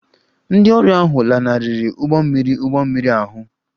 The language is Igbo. Ndị ọrụ ahụ lanarịrị ụgbọ mmiri ụgbọ mmiri ahụ